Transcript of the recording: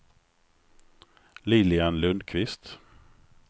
Lilian Lundkvist